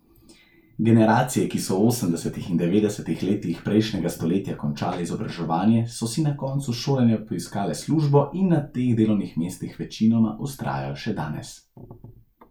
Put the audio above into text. Generacije, ki so v osemdesetih in devetdesetih letih prejšnjega stoletja končale izobraževanje, so si po koncu šolanja poiskale službo in na teh delovnih mestih večinoma vztrajajo še danes.